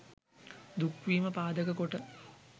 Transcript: දුක් වීම පාදක කොට